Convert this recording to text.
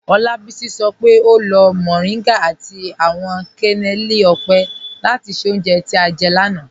Olabisi sọ pe o lo mọrìngá àti awọn kẹnẹlì ọ́pẹ́ láti ṣẹ́ ọ̀unje tí a jẹ́ ni ọ̀na.